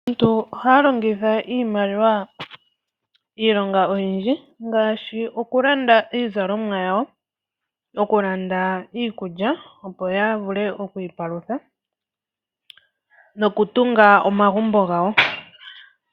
Aaantu ohaya longitha iimaliwa moonkalo odhindji ngaashi oku landa iizalomwa yawo, oku landa iikulya opo ya vule oku ipalutha noku tunga omagumbo gawo.